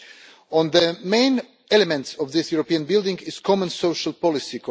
One of the main elements of this European building is common social policy.